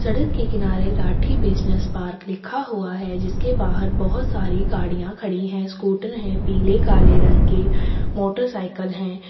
सड़क के किनारे राठी बिज़नेस पार्क लिखा हुआ है जिसके बाहर बहुत सारी गाड़ियाँ खड़ी है स्कूटर है पीले काले रंग के मोटरसाइकिल है ।